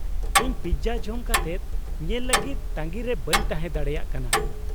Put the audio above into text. -ᱤᱧ ᱯᱤᱛᱡᱟ ᱡᱚᱢ ᱠᱟᱛᱮᱫ ᱧᱮᱞ ᱞᱟᱹᱜᱤᱫ ᱛᱟᱺᱜᱤ ᱨᱮ ᱵᱟᱹᱧ ᱛᱟᱦᱮᱸ ᱫᱟᱲᱮᱭᱟᱜ ᱠᱟᱱᱟ ᱾